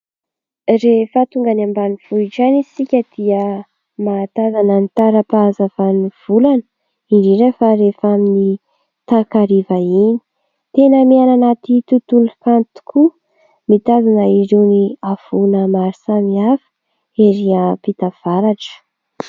Rehefa tonga any ambanivohitra any isika dia mahatazana ny tara-pahazavan'ny volana, indrindra fa rehefa amin'ny takariva iny. Tena miaina anaty tontolo kanto tokoa, mitazana irony havoana maro samihafa ery ampita avaratra.